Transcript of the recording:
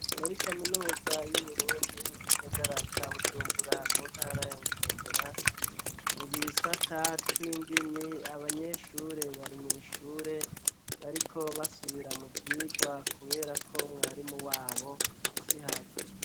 Muri Kaminuza y'Uburundi mu gisagara ca Bujumbura mu ntara ya Bujumbura mu Gisata c'Indimi, abanyeshure bari mw' ishure bariko basubira mu vyigwa kubera ko mwarimu wabo siho ari.